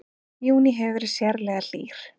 Júní hefur verið sérlega hlýr